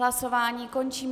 Hlasování končím.